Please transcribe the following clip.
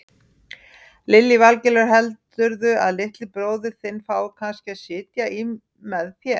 Lillý Valgerður: Heldurðu að litli bróðir þinn fái kannski að sitja í með þér?